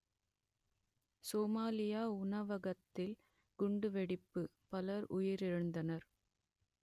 Somalia உணவகத்தில் குண்டுவெடிப்பு பலர் உயிரிழந்தனர்